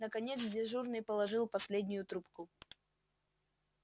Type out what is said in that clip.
наконец дежурный положил последнюю трубку